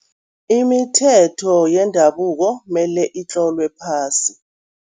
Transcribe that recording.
Imithetho yendabuko mele itlolwe phasi.